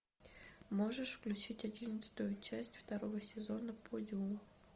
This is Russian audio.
можешь включить одиннадцатую часть второго сезона подиум